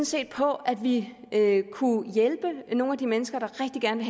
set på at vi kunne hjælpe nogle af de mennesker der rigtig gerne